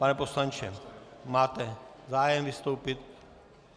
Pane poslanče, máte zájem vystoupit?